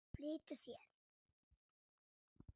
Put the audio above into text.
Flýttu þér!